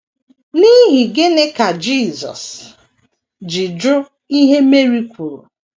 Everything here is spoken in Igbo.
N’ihi gịnị ka Jisọs ji jụ ihe Meri kwuru?